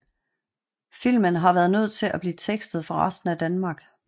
Filmen har været nødt til at blive tekstet for resten af Danmark